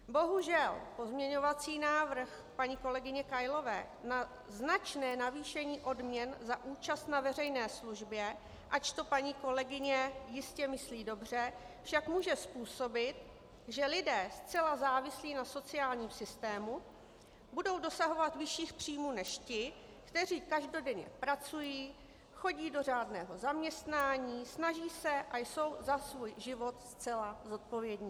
Bohužel pozměňovací návrh paní kolegyně Kailové na značné navýšení odměn za účast na veřejné službě, ač to paní kolegyně jistě myslí dobře, však může způsobit, že lidé zcela závislí na sociálním systému budou dosahovat vyšších příjmů než ti, kteří každodenně pracují, chodí do řádného zaměstnání, snaží se a jsou za svůj život zcela zodpovědní.